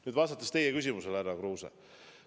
Nüüd aga vastan teie küsimusele, härra Kruuse.